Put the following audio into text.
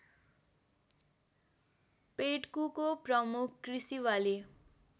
पेड्कुको प्रमुख कृषिबाली